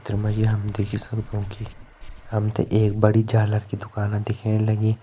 चित्र मा जी हम देखि सक्दों कि हम ते एक बड़ी झालर की दुकाना दिखेण लगीं।